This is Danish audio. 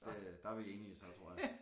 Det der er vi enige så tror jeg